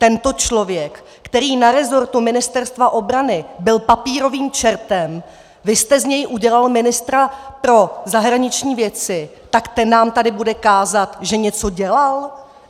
Tento člověk, který na resortu Ministerstva obrany byl papírovým čertem, vy jste z něj udělal ministra pro zahraniční věci, tak ten nám tady bude kázat, že něco dělal?